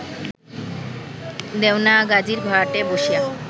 দেওনাগাজীর ঘাটে বসিয়া